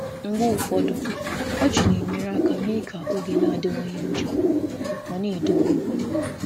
Mgbe ụfọdụ, ọchị na-enyere aka ime ka oge esemokwu dị mfe ma na-echekwa ugwu. ugwu.